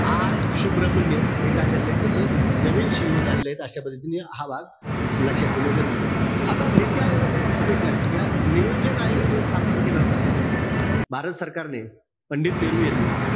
R Subrahmanyam हे काय झाले त्याचे नवीन CEO झाले. अशा पद्धतीने हा भाग लक्षात ठेवणं गरजेचंय. आता नीती आयोगाच्या बाबतीत एक लक्षात ठेवा. नियोजन आयोग जो स्थापन केला होता, भारत सरकारने, पंडित नेहरू यांनी,